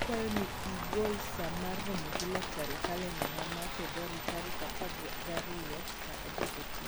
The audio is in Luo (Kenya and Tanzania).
akawayo ni i gol saa mar romo gi laktar e kalendana ma febuar tarik apargi ariyo saa adek okinyi